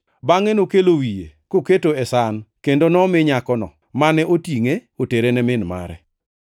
Bangʼe nokelo wiye koketo e san kendo nomi nyakono, mane otingʼe otere ne min mare.